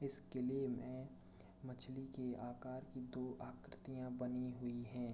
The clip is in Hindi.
इस किले में मछली के आकार की दो आकर्ति बानी हुई हैं।